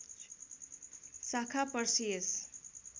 शाखा पर्सियस